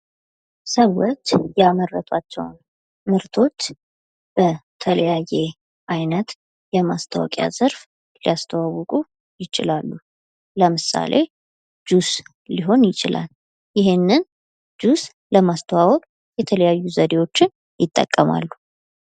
ሰዎች ያመረቷቸውን ምርቶች በተለያየ ዓይነት የማስታወቂያ ዘርፍ ሊያስተዋውቁ ይችላሉ። ለምሳሌ ጁስ ሊሆን ይችላል፤ ይህንን ጁስ ለማስተዋወቅ የተለያዩ ዘዴዎችን ይጠቀማሉ።